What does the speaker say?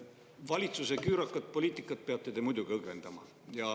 Valitsuse küürakat poliitikat peate te muidugi õgvendama.